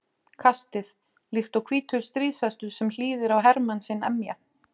kastið, líkt og hvítur stríðshestur sem hlýðir á hermann sinn emja.